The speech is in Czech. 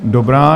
Dobrá.